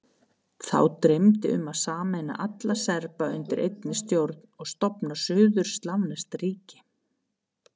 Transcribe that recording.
Þá dreymdi um að sameina alla Serba undir einni stjórn og stofna suður-slavneskt ríki.